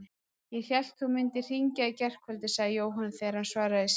Ég hélt þú mundir hringja í gærkvöldi sagði Jóhann þegar hann svaraði í símann.